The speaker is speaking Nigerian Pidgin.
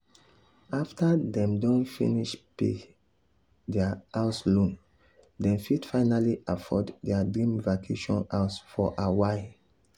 after dem don finish pay um their house loan dem fit finally afford their dream vacation house for hawaii.